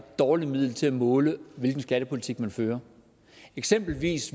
dårligt middel til at måle hvilken skattepolitik man fører eksempelvis